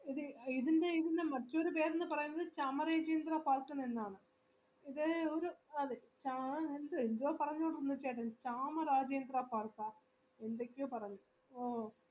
ഇതിൻറെ ഇതിൻറെ മറ്റൊരു പേരെന്ന് പറയുന്നത് കമരജേന്ദ്ര park എന്നാണ് ഇത് ഒര് ആള് എന്തുവാ പറഞ്ഞത് ചേട്ടൻ കാമരാജ്നദ്ര park എന്തൊക്കെയോ പറഞ്ഞ്